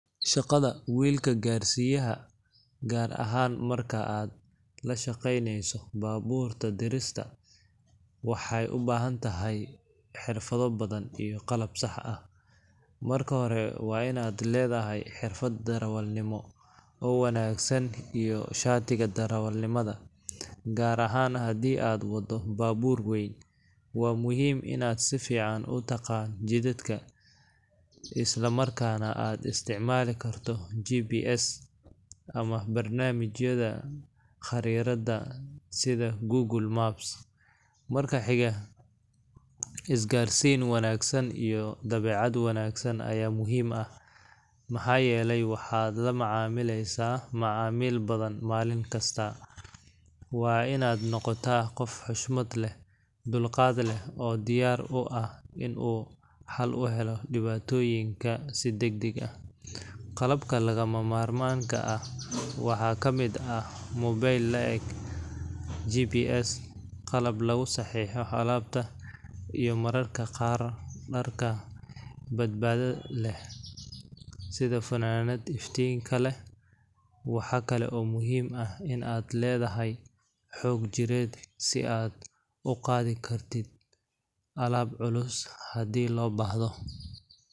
Shaqada wiilka gaarsiiyaha, gaar ahaan marka aad la shaqeyneyso baabuurta dirista, waxay u baahan tahay xirfado badan iyo qalab sax ah. Marka hore, waa in aad leedahay xirfad darawalnimo oo wanaagsan iyo shatiga darawalnimada, gaar ahaan haddii aad wado baabuur weyn. Waa muhiim in aad si fiican u taqaan jidadka, isla markaana aad isticmaali karto GPS ama barnaamijyada khariidada sida Google Maps. Marka xiga, isgaarsiin wanaagsan iyo dabeecad wanaagsan ayaa muhiim ah, maxaa yeelay waxaad la macaamilaysaa macaamiil badan maalin kasta. Waa in aad noqotaa qof xushmad leh, dulqaad leh, oo diyaar u ah in uu xal u helo dhibaatooyinka si degdeg ah. Qalabka lagama maarmaanka ah waxaa ka mid ah mobil la’eg GPS, qalab lagu saxiixo alaabta, iyo mararka qaar dharka badbaadada leh sida funaanadaha iftiinka leh. Waxaa kale oo muhiim ah in aad leedahay xoog jireed, si aad u qaadi karto alaab culus haddii loo baahdo.